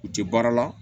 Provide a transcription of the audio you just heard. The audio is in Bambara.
U tɛ baara la